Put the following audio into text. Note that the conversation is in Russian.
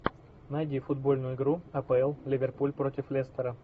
найди футбольную игру апл ливерпуль против лестера